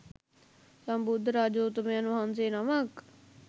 සම්බුද්ධ රාජෝත්තමයන් වහන්සේ නමක්